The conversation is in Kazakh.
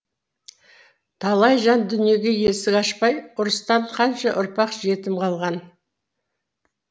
талай жан дүниеге есік ашпай ұрыстан қанша ұрпақ жетім қалған